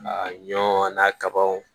A ɲɔ n'a ka baganw